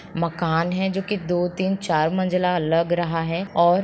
मकान है जो के दो तीन चार मंजिला लग रहा है । और--